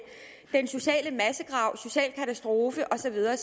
den sociale massegrav social katastrofe og så videre